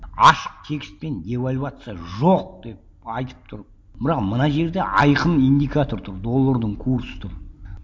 ашық текстпен девальвация жоқ деп айтып тұрып мынау мына жерде айқын индикатор тұр доллардың курсы тұр